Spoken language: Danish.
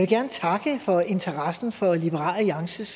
gerne takke for interessen for liberal alliances